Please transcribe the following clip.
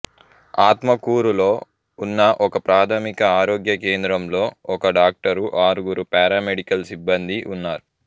ఆత్మకూరులో ఉన్న ఒకప్రాథమిక ఆరోగ్య కేంద్రంలో ఒక డాక్టరు ఆరుగురు పారామెడికల్ సిబ్బందీ ఉన్నారు